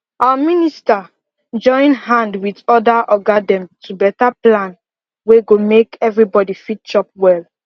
our minister join hand with other oga dem to beta plan wey go make everybody fit chop well